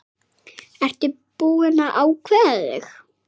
Ertu búinn að ákveða þig?